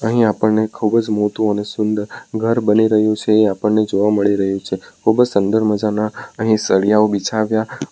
અહીં આપણને ખૂબ જ મોતૂ અને સુંદર ઘર બની રહ્યું છે એ આપણને જોવા મળી રહ્યું છે ખૂબ જ સંદર મજાના અહીં સળિયાઓ બિછાવ્યા --